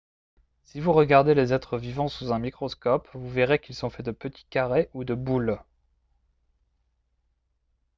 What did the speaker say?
si vous regardez les êtres vivants sous un microscope vous verrez qu'ils sont faits de petits carrés ou de boules